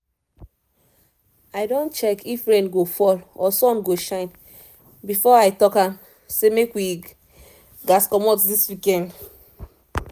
i don check if rain go fall or sun go shine before i talk um say make we um commot this weekend